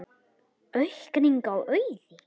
Auðgun: aukning á auði?